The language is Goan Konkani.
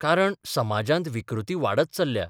कारण समाजांत विकृती वाडत चल्ल्या.